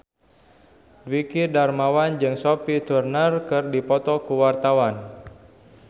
Dwiki Darmawan jeung Sophie Turner keur dipoto ku wartawan